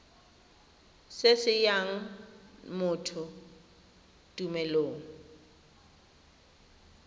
se se nayang motho tumelelo